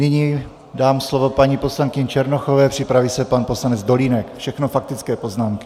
Nyní dám slovo paní poslankyni Černochové, připraví se pan poslanec Dolínek, všechno faktické poznámky.